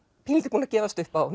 pínulítið búnir að gefast upp á